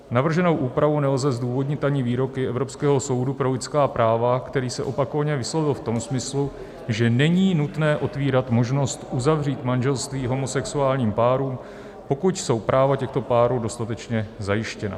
Navrženou úpravu nelze zdůvodnit ani výroky Evropského soudu pro lidská práva, který se opakovaně vyslovil v tom smyslu, že není nutné otevírat možnost uzavřít manželství homosexuálním párům, pokud jsou práva těchto párů dostatečně zajištěna.